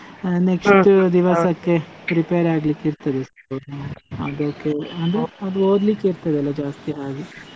ಅಹ್ ದಿವಸಕ್ಕೆ prepare ಆಗಲಿಕ್ಕೆ ಇರ್ತದೆ, ಅದಕ್ಕೇ ಅದು ಓದ್ಲಿಕ್ಕೆ ಇರ್ತದಲ್ಲ ಜಾಸ್ತಿ ಹಾಗೆ.